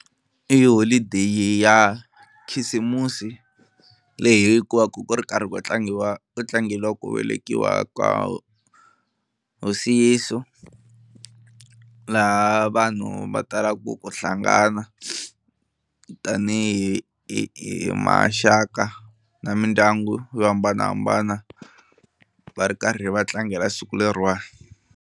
I holideyi ya khisimusi leyi hi yi kumaku ku ri karhi ku tlangiwa ku tlangela ku velekiwa ka hosi Yeso laha vanhu va talaku ku hlangana tanihi hi hi maxaka na mindyangu yo hambanahambana va ri karhi va tlangela siku leriwani.